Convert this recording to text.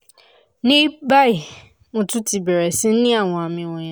ní báyìí mo tún ti bẹ̀rẹ̀ sí ní àwọn àmì wọ̀nyẹn